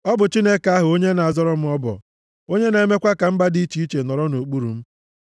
Ọ bụ Chineke ahụ onye na-abọrọ m ọbọ, onye na-emekwa ka mba dị iche iche nọrọ nʼokpuru m,